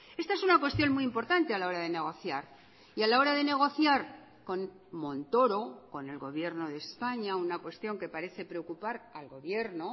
esta es una cuestión muy importante a la hora de negociar y a la hora de negociar con montoro con el gobierno de españa una cuestión que parece preocupar al gobierno